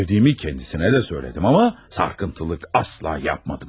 Sevdiyimi kendisine də söylədim, amma sarkıntılık asla yapmadım.